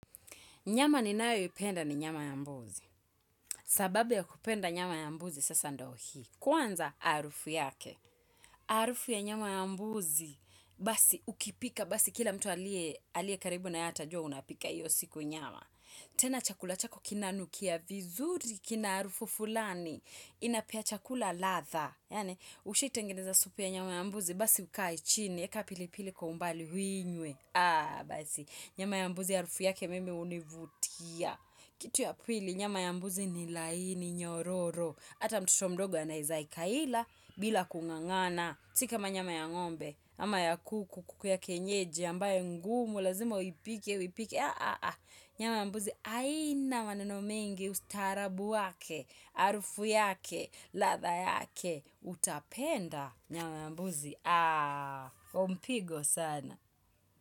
Nyama ninayo ipenda ni nyama ya mbuzi. Sababu ya kupenda nyama ya mbuzi sasa ndio hii. Kwanza harufu yake. Harufu ya nyama ya mbuzi, basi ukipika, basi kila mtu aliye, aliye karibu na wewe atajua unapika hiyo siku nyama. Tena chakula chako kinanukia vizuri, kina harufu fulani, inapea chakula ladha Yaani, ushai tengeneza supu ya nyama ya mbuzi, basi ukae chini, eka pilipili kwa umbali uinywe. Aah basi, nyama ya mbuzi harufu yake mimi hunivutia Kitu ya pili, nyama ya mbuzi ni laini, nyororo Ata mtoto mdogo anaweza akaila, bila kungangana Si kama nyama ya ngombe, ama ya kuku, kuku ya kienyeji, ambaye ngumu, lazima uipike, uipike nyama ya mbuzi, haina maneno mengi, ustarabu wake, harufu yake, ladha yake, utapenda Nyama ya mbuzi umpigo sana.